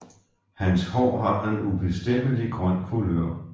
Hans hår har en ubestemmelig grøn kulør